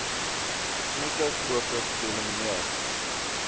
besmette fokus geelimineer